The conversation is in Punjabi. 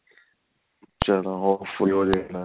ਚਲੋ ਉਹ ਵੀ ਹੋਜੇਗਾ